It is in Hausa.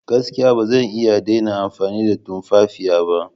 Gaskiya! Ba zan iya daina amfani da tumfafiya ba.